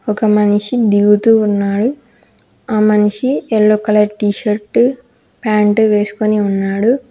ఒక మనిషి దిగుతూ ఉన్నాడు ఆ మనిషి yellow colour T shirt pant వేసుకుని ఉన్నాడు.